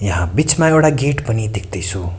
यहाँ बीचमा एउडा गेट पनि देख्दैछु।